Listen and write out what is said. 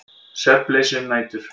Svefnleysi um nætur.